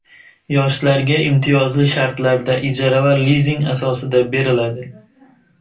yoshlarga imtiyozli shartlarda ijara va lizing asosida beriladi.